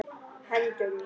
Hendur mínar.